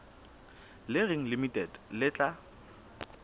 le reng limited le tla